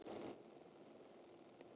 Einnig ögn af svörtum pipar.